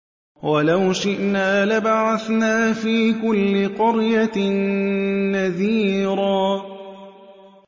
وَلَوْ شِئْنَا لَبَعَثْنَا فِي كُلِّ قَرْيَةٍ نَّذِيرًا